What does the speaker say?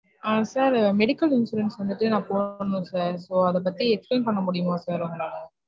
ஆஹ் sir medical insurance வந்துட்டு நான் போடனும் sir அத பத்தி explain பண்ண முடியுமா sir உங்களால.